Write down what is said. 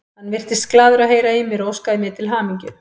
Hann virtist glaður að heyra í mér og óskaði mér til hamingju.